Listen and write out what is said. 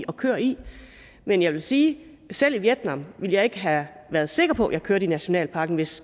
og kører i men jeg vil sige at selv i vietnam ville jeg ikke have været sikker på at jeg kørte i nationalparken hvis